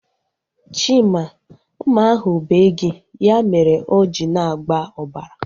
Chima, mma ahu bee gị. Ya mere o ji na-agba ọbara